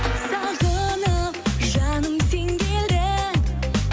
сағынып жаным сен кел де